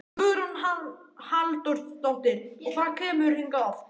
Hugrún Halldórsdóttir: Og hvað kemurðu hingað oft?